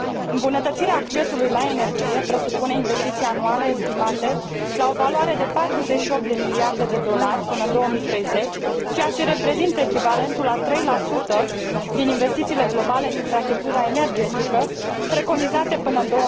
Îmbunătățirea accesului la energie presupune investiții anuale estimate la o valoare de 48 de miliarde de dolari până în 2030, ceea ce reprezintă echivalentul a 3 din investițiile globale în infrastructura energetică, preconizate până în